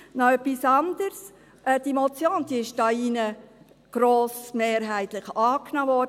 Noch etwas anderes: Diese Motion wurde 2018 hier drin grossmehrheitlich angenommen.